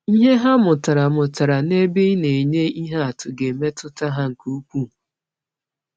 Ihe ha mụtara mụtara n’ebe ị na-enye ihe atụ ga-emetụta ha nke ukwuu.